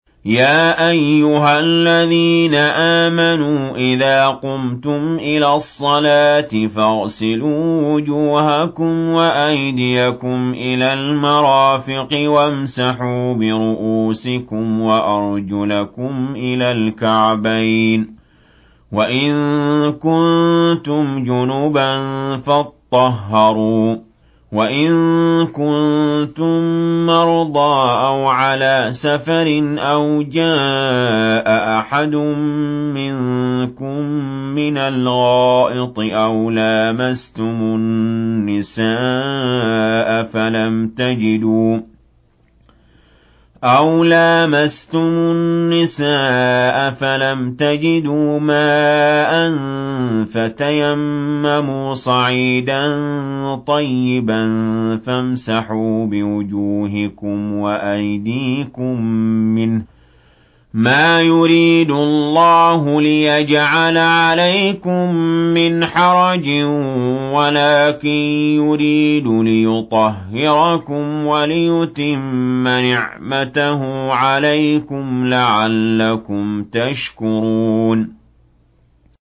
يَا أَيُّهَا الَّذِينَ آمَنُوا إِذَا قُمْتُمْ إِلَى الصَّلَاةِ فَاغْسِلُوا وُجُوهَكُمْ وَأَيْدِيَكُمْ إِلَى الْمَرَافِقِ وَامْسَحُوا بِرُءُوسِكُمْ وَأَرْجُلَكُمْ إِلَى الْكَعْبَيْنِ ۚ وَإِن كُنتُمْ جُنُبًا فَاطَّهَّرُوا ۚ وَإِن كُنتُم مَّرْضَىٰ أَوْ عَلَىٰ سَفَرٍ أَوْ جَاءَ أَحَدٌ مِّنكُم مِّنَ الْغَائِطِ أَوْ لَامَسْتُمُ النِّسَاءَ فَلَمْ تَجِدُوا مَاءً فَتَيَمَّمُوا صَعِيدًا طَيِّبًا فَامْسَحُوا بِوُجُوهِكُمْ وَأَيْدِيكُم مِّنْهُ ۚ مَا يُرِيدُ اللَّهُ لِيَجْعَلَ عَلَيْكُم مِّنْ حَرَجٍ وَلَٰكِن يُرِيدُ لِيُطَهِّرَكُمْ وَلِيُتِمَّ نِعْمَتَهُ عَلَيْكُمْ لَعَلَّكُمْ تَشْكُرُونَ